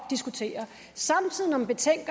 sag